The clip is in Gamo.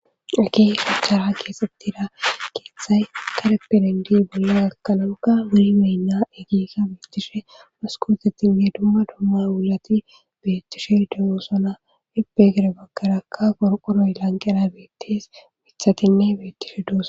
Hagey shachchara keesettida keeththay kareperendi bollo gakkanonka wuli meynna egiika beettishe maskootettinne dumma domma wulati beettishe degoosona hipegere bakkarakka gorqoroy lanqera beettes mithatinne beettishe dooso